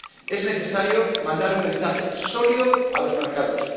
Es necesario mandar un mensaje sólido a los mercados.